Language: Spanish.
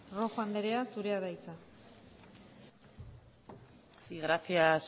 rojo andrea zurea da hitza sí gracias